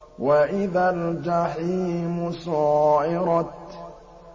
وَإِذَا الْجَحِيمُ سُعِّرَتْ